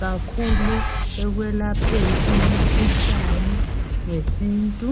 kakhulu ekwelapheni imkhuhlane ngesintu .